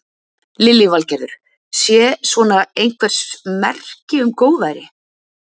Lillý Valgerður: Sé svona einhvers merki um góðæri?